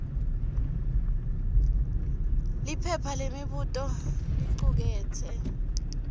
liphepha lemibuto licuketse